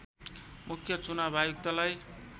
मुख्य चुनाव आयुक्तलाई